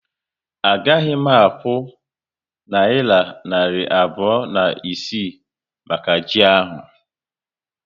A gaghị m akwụ nayira narị abụọ na isii maka ji ahu